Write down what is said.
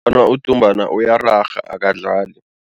udumbana uyararha akadlali.